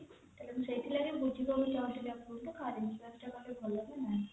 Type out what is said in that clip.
ସେଥିଲାଗି ବୁଝିବାକୁ ଚାହୁଁଥିଲି car insurance ଟା କଲେ ଭଲ କି ନାଇଁ